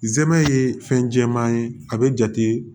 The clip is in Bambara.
Zɛmɛ ye fɛn jɛman ye a bɛ jate